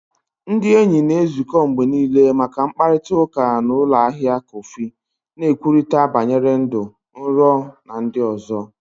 Ndị enyi na-ezukọ mgbe niile maka mkparịta ụka na ụlọ ahịa kọfị, na-ekwurịta banyere ndụ, nrọ, na ndị ọzọ.